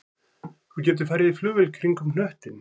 Þú getur farið í flugvél kringum hnöttinn